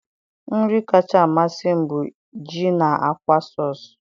nri kacha amasị m bụ ji na akwa sauce